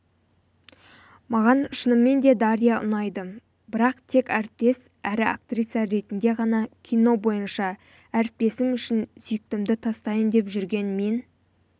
маған шынымен де дарья ұнайды бірақ тек әріптес әрі актриса ретінде ғана кино бойынша әріптесім үшін сүйіктімді тастайын деп жүрген мен